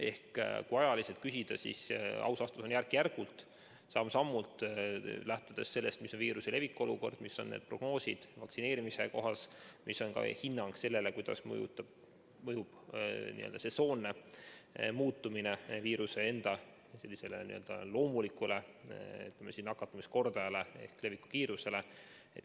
Ehk kui aja kohta küsida, siis aus vastus on: järk-järgult, samm-sammult, lähtudes sellest, milline on viiruse leviku olukord, mis on prognoosid vaktsineerimise kohta, mis on ka hinnang sellele, kuidas mõjub sesoonne muutumine viiruse enda loomulikule nakatumiskordajale ehk leviku kiirusele.